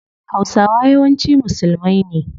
Hausawa yawanci musulmai ne